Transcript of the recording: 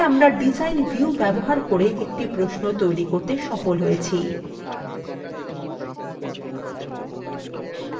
তাহলে আমরা design view ব্যবহার করে একটি প্রশ্ন তৈরী করতে সফল হয়েছি